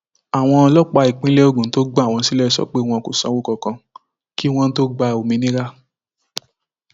àwọn ọlọpàá ìpínlẹ ogun tó gbà wọn sílẹ sọ pé wọn kò sanwó kankan kí wọn tóó gba òmìnira